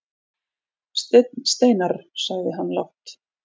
Steinn Steinarr, sagði hann lágt.